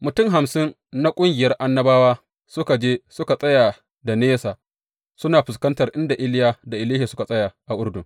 Mutum hamsin na ƙungiyar annabawa suka je suka tsaya da nisa, suna fuskantar inda Iliya da Elisha suka tsaya a Urdun.